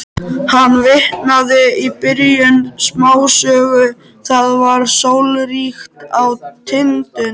Hann vitnaði í byrjun smásögu: Það var sólríkt á Tindum.